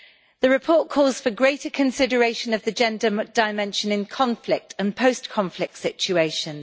The report calls for greater consideration of the gender dimension in conflict and post conflict situations.